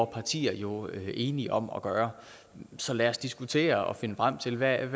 partier jo enige om at gøre så lad os diskutere og finde frem til hvad